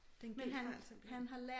Det en genfejl simpelthen